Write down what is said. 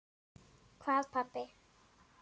Hvað pabbi?